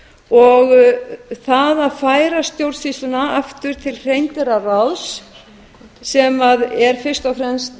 og það að færa stjórnsýsluna aftur til hreindýraráðs sem er fyrst og fremst